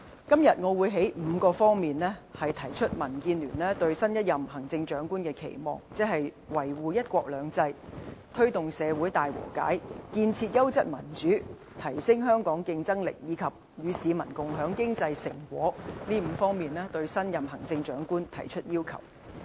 今天，我會從5方面提出民建聯對新一任行政長官的期望，即"維護一國兩制"、"推動社會大和解"、"建設優質民主"、"提升香港競爭力"，以及"與市民共享經濟成果"，對新一任行政長官提出要求。